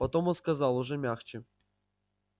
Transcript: потом он сказал уже мягче